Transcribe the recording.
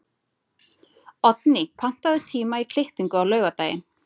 Oddný, pantaðu tíma í klippingu á laugardaginn.